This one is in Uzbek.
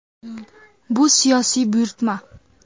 Bu siyosiy buyurtma.